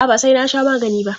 A'a, ba sai na sha magani ba.